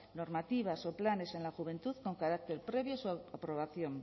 normativas o planes en la juventud con carácter previo a su aprobación